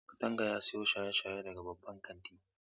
Kadanga ya siyo shaye-shaye daga babban kantin.